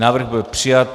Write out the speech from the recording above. Návrh byl přijat.